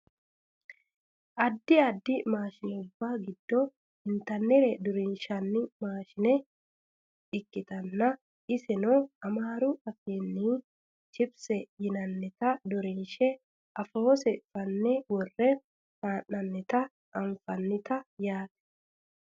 addi addi maashinubba giddo intannire durunshanni maashine ikkitanna iserano amaaru afiinni chipsete yinannita durunshe afoose fanne worre hee'noonnita anafannite yaate